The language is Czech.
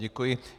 Děkuji.